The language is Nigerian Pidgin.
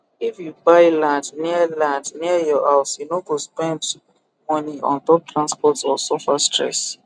if you buy land near land near your house you no go spend money ontop transport or suffer stress